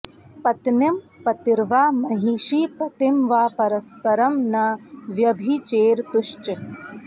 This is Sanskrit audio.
पत्नीं पतिर्वा महिषी पतिं वा परस्परं न व्यभिचेरतुश्च